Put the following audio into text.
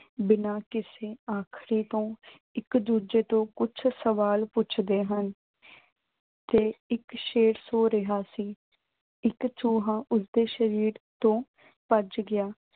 ਬਿਨਾਂ ਕੁਝ ਆਖੇ ਤੋਂ ਇੱਕ-ਦੂਜੇ ਤੋਂ ਕੁਝ ਸਵਾਲ ਪੁੱਛਦੇ ਹਨ। ਤੇ ਇੱਕ ਸ਼ੇਰ ਸੋ ਰਿਹਾ ਸੀ। ਇੱਕ ਚੂਹਾ, ਉਸਦੇ ਸਰੀਰ ਤੋਂ ਭੱਜ ਗਿਆ।